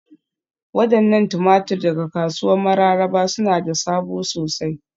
Wadannan tumatur daga kasuwar Mararaba suna da sabo sosai.